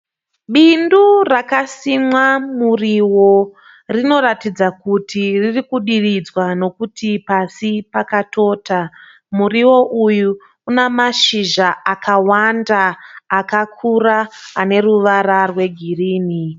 Bindu rakasimwa murio. Rinoratidza kuti ririkudiridzwa nokuti pasi pakatota. Murio uyu una mashizha akawanda akakura ane ruvara rwegirini.